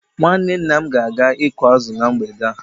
Nwanne nna m ga-aga ịkụ azụ na mgbede a